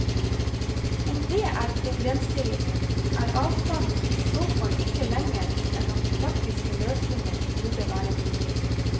Om det er problemstillingen, er avstanden i så fall ikke lengre enn at praktiske løsninger burde være mulig.